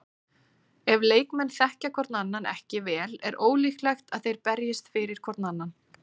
Ef leikmenn þekkja hvorn annan ekki vel er ólíklegt að þeir berjist fyrir hvorn annan.